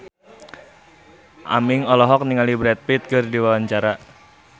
Aming olohok ningali Brad Pitt keur diwawancara